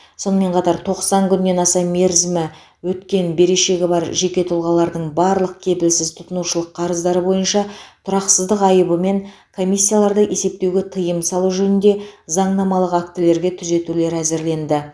сонымен қатар тоқсан күннен аса мерзімі өткен берешегі бар жеке тұлғалардың барлық кепілсіз тұтынушылық қарыздары бойынша тұрақсыздық айыбы мен комиссияларды есептеуге тыйым салу жөнінде заңнамалық актілерге түзетулер әзірленді